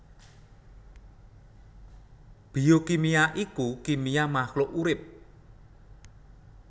Biokimia iku kimia mahluk urip